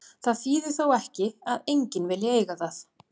Það þýðir þó ekki að enginn vilji eiga það.